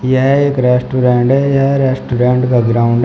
यह एक रेस्टोरेंट है यह रेस्टोरेंट का ग्राउंड है।